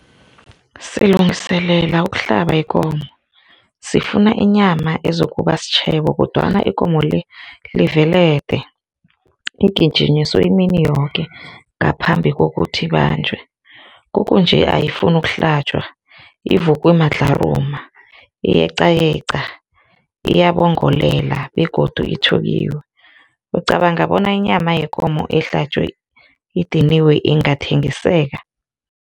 Silungiselela ukuhlaba ikomo, sifuna inyama ezokuba sitjhebo kodwana ikomo-le livelede, igijinyiswe imini yoke ngaphambi kokuthi ibanjwe, kukunje ayifuni ukuhlatjwa ivuke madlharuma iyeqayeqa, iyabongolela begodu ithukiwe. Ucabanga bona inyama yekomo ehlatjwe idiniwe ingathengiseka?